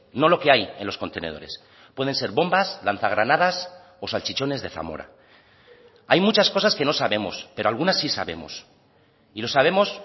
no lo que hay en los contenedores pueden ser bombas lanza granadas o salchichones de zamora hay muchas cosas que no sabemos pero algunas sí sabemos y lo sabemos